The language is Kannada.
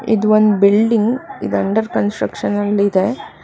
ಇದು ಒಂದ್ ಬಿಲ್ಡಿಂಗ್ ಇದ್ ಅಂಡರ್ ಕನ್ಸ್ಟ್ರಕ್ಷನ್ ಅಲ್ಲಿದೆ.